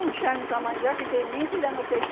Não chame para mandioca que nem cuidar no peixe.